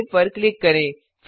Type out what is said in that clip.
save पर click करें